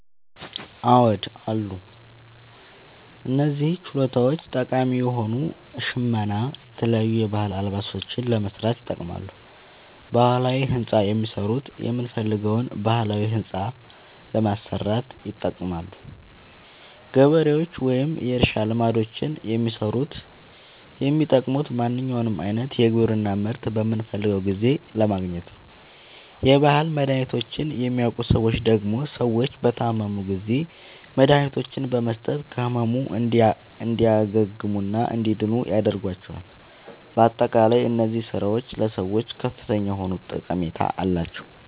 አዎድ አሉ። እነዚህ ችሎታዎች ጠቃሚ የሆኑት ሸመና የተለያዩ የባህል አልባሳትን ለመስራት ይጠቅማሉ። ባህላዊ ህንፃ የሚሠሩት የምንፈልገዉን ባህላዊ ህንፃ ለማሠራት ይጠቅማሉ። ገበሬዎች ወይም የእርሻ ልማዶችን የሚሠሩት የሚጠቅሙት ማንኛዉንም አይነት የግብርና ምርት በምንፈልገዉ ጊዜ ለማግኘት ነዉ። የባህል መድሀኒቶችን የሚያዉቁ ሠዎች ደግሞ ሰዎች በታመሙ ጊዜ መድሀኒቶችን በመስጠት ከህመሙ እንዲያግሙና እንዲድኑ ያደርጓቸዋል። በአጠቃላይ እነዚህ ስራዎች ለሰዎች ከፍተኛ የሆነ ጠቀሜታ አላቸዉ።